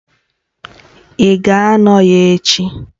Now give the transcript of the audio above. Ị ga-anọ ya echi